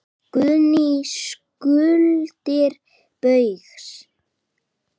Guðný: Skuldir Baugs?